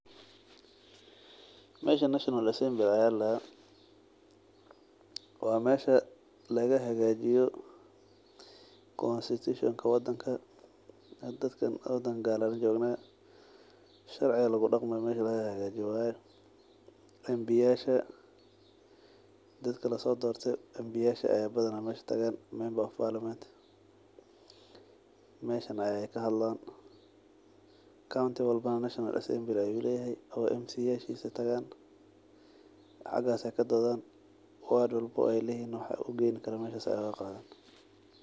Meshan national assembly aya ladaha wa meeshi lagahagaji constitution ka wadanka hada dadkan wadan gaala lajogna sharciga lagudagmayo mesha lahuhagaji waye MP yaasha dadka lasodorte MP yaasha aa badhana meesha tagaan member of parliament meshan ayay kahadlaan. County walba national assembly ayu layhay oo MCA yashisa tagaan xagas aya kadothan ward walba aay laihiin waxy ugeyni karan meshas ayay ugagadhan.